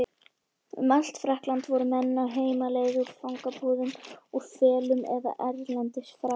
Um allt Frakkland voru menn á heimleið, úr fangabúðum, úr felum eða erlendis frá.